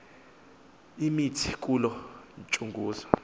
imithi kuloo ntsunguzi